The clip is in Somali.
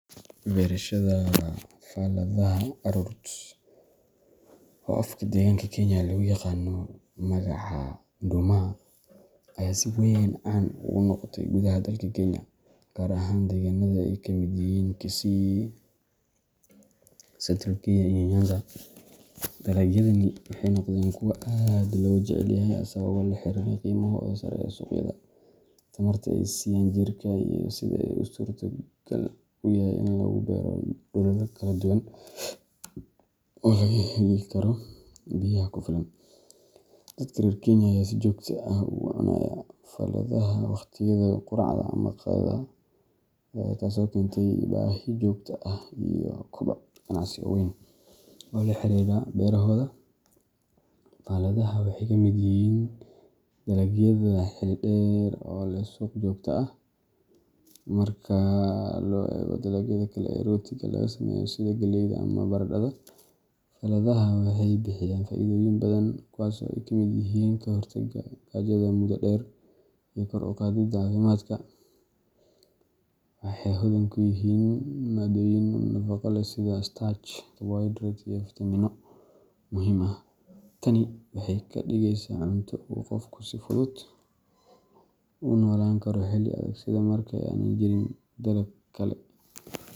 Barashada faladaha u caroot wa afka deganka kenyanga u yaqaano magaca dumaha eebsiweyn caan ugu noqotay kudaha wadanka keenya kaar ahaan deganatha ay kamit yahin kisi satrigoy iyo nyanza, dalagyada waxaynoqdeen kuwa aad lo jaceelyahay asaga oo laxariroh ini hoos tamarta aysiiyan jirka oo yahay inu gobalada kaladuwan wixu sameeyni beeyaha kufilan dadaka keenya si joktaa waqdiayada quracda amah maqayadaha taaso keenyatay Ina sijokta aah lo cunoh oo laxariroh beerahooda, bahalkan waxay kamit yahin dalagyada derder suuq jota aah marka lo adegto aah logaliyoh amah barandatha waxay bixiyan faithoyin bathan ee kamit yahin kahortaga cudud dheer iyo kor u kicinta cafimdka waxay xubin kuyahin madoyin oo muhim aah, waxay kadugeysah cuntoo oo Qoofki si futhut unolankaroh markay inajay dalabkali.